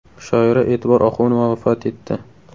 Shoira E’tibor Oxunova vafot etdi.